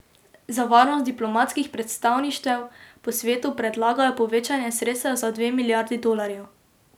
Za varnost diplomatskih predstavništev po svetu predlagajo povečanje sredstev za dve milijardi dolarjev.